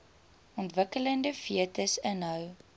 ontwikkelende fetus inhou